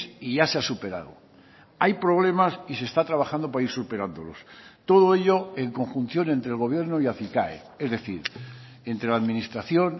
y ya se ha superado hay problemas y se está trabajando para ir superándolos todo ello en conjunción entre el gobierno y acicae es decir entre la administración